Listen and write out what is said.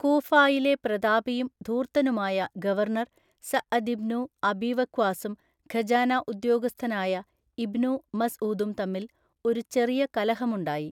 കൂഫായിലെ പ്രതാപിയും ധൂർത്തനുമായ ഗവർണർ സഅദിബ്നു അബീവക്വാസും ഖജാന ഉദ്യോഗസ്ഥനായ ഇബ്നു മസ്ഊദും തമ്മിൽ ഒരു ചെറിയ കലഹമുണ്ടായി.